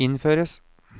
innføres